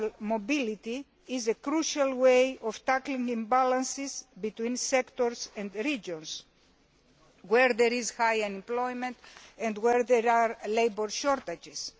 mobility is a crucial way of tackling imbalances between sectors and regions where there is high unemployment and where there are labour shortages.